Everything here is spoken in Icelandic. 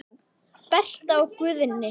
Berta og Guðni.